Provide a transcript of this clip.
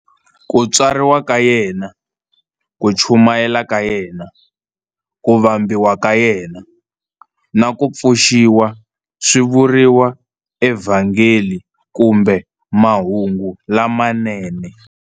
Ku tswariwa ka yena, ku chumayela ka yena, ku vambiwa ka yena, na ku pfuxiwa swi vuriwa eVhangeli kumbe Mahungu lamanene.